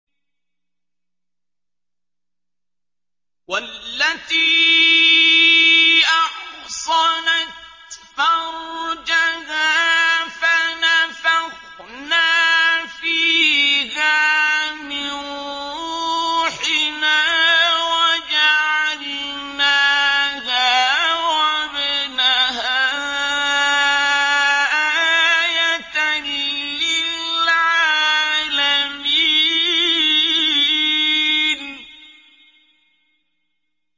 وَالَّتِي أَحْصَنَتْ فَرْجَهَا فَنَفَخْنَا فِيهَا مِن رُّوحِنَا وَجَعَلْنَاهَا وَابْنَهَا آيَةً لِّلْعَالَمِينَ